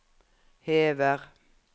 hever